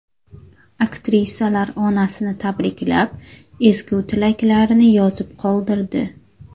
Aktrisalar onasini tabriklab, ezgu tilaklarini yozib qoldirdi.